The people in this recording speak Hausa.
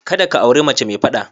Kada ka auri mace mai fada.